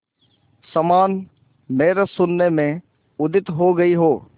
समान मेरे शून्य में उदित हो गई हो